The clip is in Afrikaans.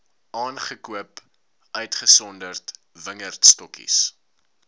aangekoop uitgesonderd wingerdstokkies